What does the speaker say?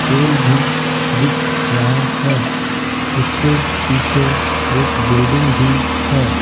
पोल भी दिख रहा है उसके पीछे एक बिल्डिंग भी है।